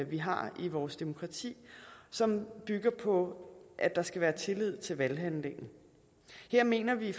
vi har i vores demokrati som bygger på at der skal være tillid til valghandlingen her mener vi